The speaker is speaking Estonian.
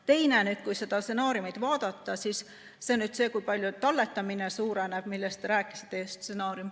Teine küsimus, kui seda stsenaariumi vaadata, on see, kui palju talletamine suureneb.